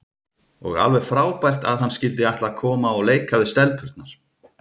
Og alveg frábært að hann skyldi ætla að koma og leika við stelpurnar.